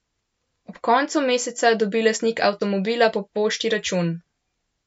Ob koncu meseca dobi lastnik avtomobila po pošti račun.